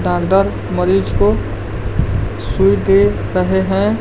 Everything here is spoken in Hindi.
दरदर मरीज को सुई दे रहे हैं।